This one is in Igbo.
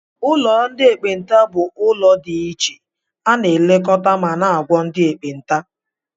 Ụlọ ndị ekpenta bụ ebe dị ichè ana elekota ma na -agwo ndị ekpenta.